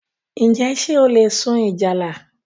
Njẹ ṣé o le sun ìjálá?